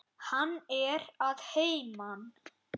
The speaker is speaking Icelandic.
Hann er að heiman.